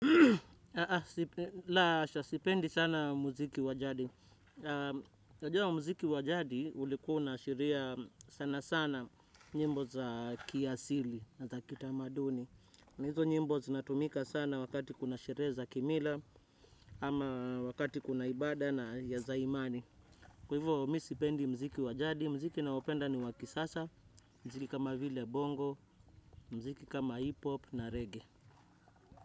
La hasha, sipendi sana mziki wajadi. Najua mziki wajadi ulikuwa una ashiria sana sana. Nyimbo za kiasili na za kitamaduni. Na hizo nyimbo zinatumika sana wakati kuna sherehe za kimila. Ama wakati kuna ibada na ya za imani. Kwa hivyo mi sipendi mziki wajadi. Mziki naopenda ni wa kisasa. Mziki kama vile bongo. Mziki kama hipop na reggae.